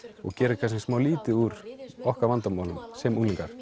og gera kannski smá lítið úr okkar vandamálum sem unglingar